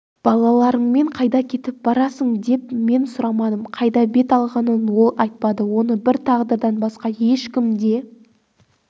балаларыңмен қайда кетіп барасың деп мен сұрамадым қайда бет алғанын ол айтпады оны бір тағдырдан басқа ешкім де